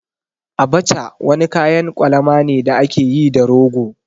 Abacha wani kayan kwalama ne da ake yi da rogo.